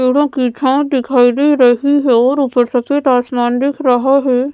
पेड़ों की छांव दिखाई दे रही है और ऊपर सफेद आसमान दिख रहा है।